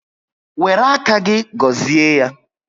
Wéré áká gị gọzie ya